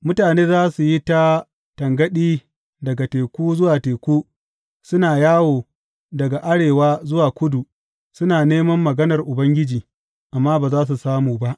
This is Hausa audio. Mutane za su yi ta tangaɗi daga teku zuwa teku suna yawo daga arewa zuwa kudu, suna neman maganar Ubangiji, amma ba za su samu ba.